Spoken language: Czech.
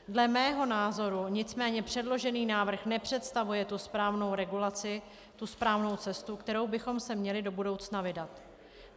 Dle mého názoru nicméně předložený návrh nepředstavuje tu správnou regulaci, tu správnou cestu, kterou bychom se měli do budoucna vydat.